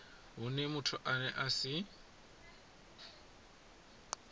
hune muthu ane a si